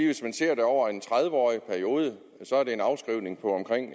hvis man ser det over en tredive årig periode